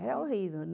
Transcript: Era horrível.